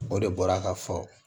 O de bɔra ka fɔ